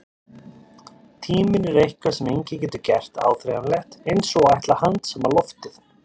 Tíminn er eitthvað sem enginn getur gert áþreifanlegt, eins og að ætla að handsama loftið.